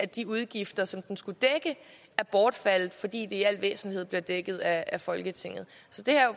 de udgifter som den skulle dække er bortfaldet fordi det i al væsentlighed bliver dækket af folketinget så det her er